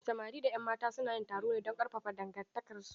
Samari da 'yan mata su na yin taro don ƙarfafa dangantakarsu.